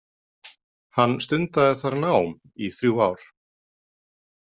Hann stundaði þar nám í þrjú ár.